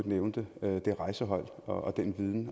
nævnte det rejsehold og at den